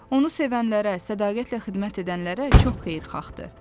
Onu sevənlərə, sədaqətlə xidmət edənlərə çox xeyirxahdır.